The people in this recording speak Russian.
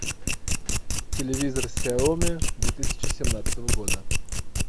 телевизор сяоми две тысячи семнадцатого года